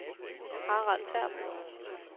Harald Terp